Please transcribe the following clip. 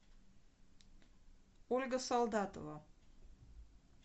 ольга солдатова